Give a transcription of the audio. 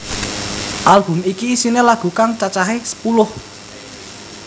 Album iki isiné lagu kang cacahé sepuluh